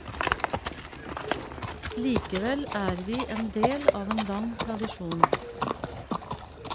Likevel er vi en del av en lang tradisjon.